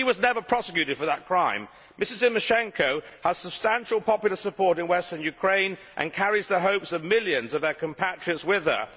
He was never prosecuted for that crime. Mrs Tymoshenko has substantial popular support in western Ukraine and carries the hopes of millions of her compatriots with her.